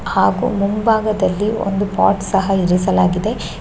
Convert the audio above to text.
ಹಾಗು ಮುಂಬಾಗದಲ್ಲಿ ಒಂದು ಪೊಟ್ ಸಹ ಇರಿಸಲಾಗಿದೆ .